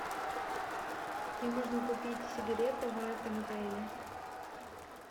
где можно купить сигареты в этом отеле